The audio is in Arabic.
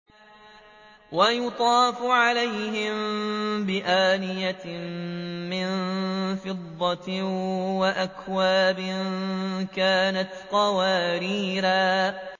وَيُطَافُ عَلَيْهِم بِآنِيَةٍ مِّن فِضَّةٍ وَأَكْوَابٍ كَانَتْ قَوَارِيرَا